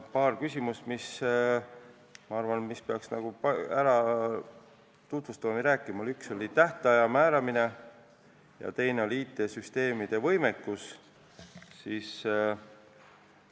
Paarist küsimusest, ma arvan, peaks rääkima: üks oli tähtaja määramise ja teine IT-süsteemide võimekuse kohta.